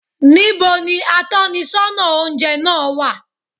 Ní bo ni atónisọ́nà oúnjẹ náà wà?